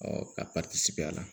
ka a la